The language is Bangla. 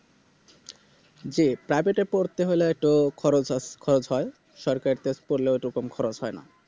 যে Private এ পড়তে হলে একটু খরচ আছ~ খরচ হয় সরকারি তে পড়লে ঐরকম খরচ হয়না